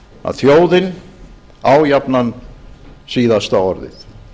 að þjóðin á jafnan síðasta orðið